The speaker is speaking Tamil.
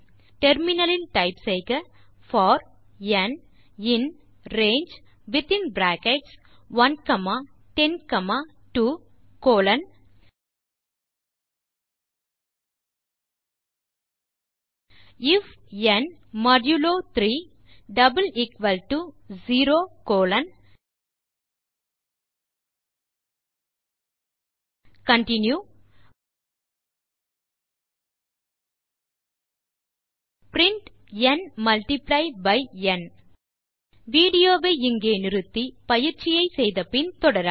டெர்மினல் இல் டைப் செய்க for n in range within bracket 1 comma 10 comma 2 colon if n modulo 3 0 colon continue print n multiply by n video வை நிறுத்தி பயிற்சியை முடித்த பின் தொடரவும்